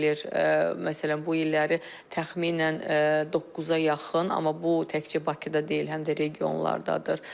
Məsələn, bu illəri təxminən doqquza yaxın, amma bu təkcə Bakıda deyil, həm də regionlardadır.